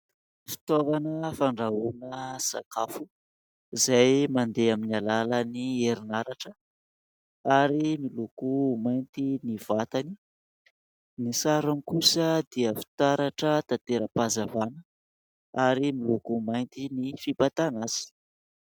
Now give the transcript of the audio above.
Fitaovana fandrahoana sakafo izay mandeha amin'ny alalan'ny herinaratra ; ary miloko mainty ny vatana, ny sarony kosa dia fitaratra tanteram-pahazavana ary miloko mainty ny fibatana azy.